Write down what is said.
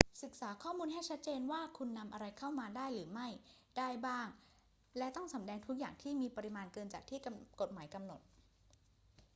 ศึกษาข้อมูลให้ชัดเจนว่าคุณนำอะไรเข้ามาได้หรือไม่ได้บ้าง และต้องสำแดงทุกอย่างที่มีปริมาณเกินจากที่กฎหมายกำหนด